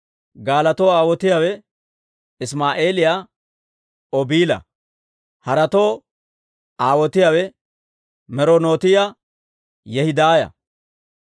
Gaalotoo aawotiyaawe Isimaa'eeliyaa Obiila. Haretoo aawotiyaawe Meronootiyaa Yehidaaya.